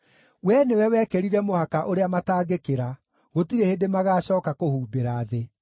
Wee nĩwe wekĩrire mũhaka ũrĩa matangĩkĩra; gũtirĩ hĩndĩ magaacooka kũhumbĩra thĩ.